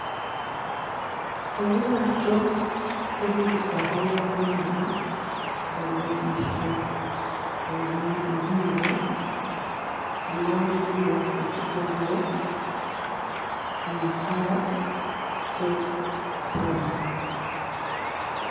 Elyaato eriri kusabalira kumaadhi nga lyeitiise ebiibo lighandiikilwaku ekigambo Impala Cape Town.